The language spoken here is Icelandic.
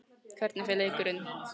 Hvernig fer leikurinn?